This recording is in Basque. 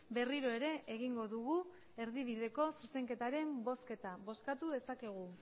berriro ere egingo dugu erdibideko zuzenketaren bozketa bozkatu dezakegu